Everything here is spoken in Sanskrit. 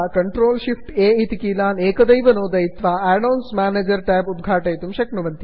पर्यायेण भवन्तः CTRLShiftA इति कीलान् एकदैव नोदयित्वा add ons manager add ons manager tab उद्घाटयितुं शक्यते